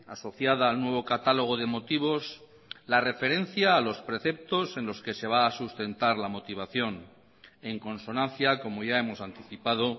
asociada al nuevo catálogo de motivos la referencia a los preceptos en los que se va a sustentar lamotivación en consonancia como ya hemos anticipado